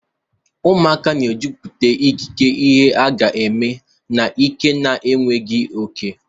Ụmụaka na-ejupụta ikike ihe aga eme na ike na enweghị oke.